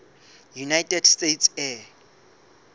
united states air